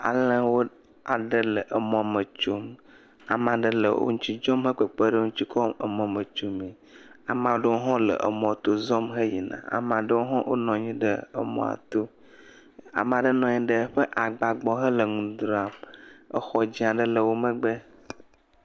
Alẽwo aɖe le emɔme tsom. Ame aɖe le wo ŋutsi tso va le kpekpe ɖe wo ŋutsi kɔ le emɔme tsomee. Ame aɖewo hã le emɔto zɔm heyina. Amea aɖewo hã wonɔ anyi ɖe emɔa to. Ame aɖe nɔ anyi ɖe eƒe agba gbɔ hele nu dzram. Exɔ dzẽ aɖe le wo megbe.